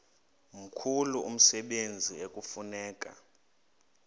mkhulu umsebenzi ekufuneka